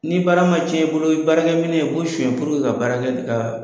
Ni baara ma cɛn i bolo, baarakɛ minɛ i b'o suɲɛ puruke ka baara kɛ ka